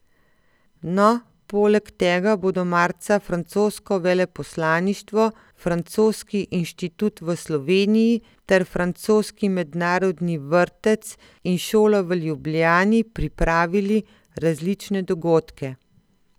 No, poleg tega bodo marca francosko veleposlaništvo, Francoski inštitut v Sloveniji ter francoski mednarodni vrtec in šola v Ljubljani pripravili različne dogodke.